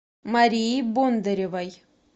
марии бондаревой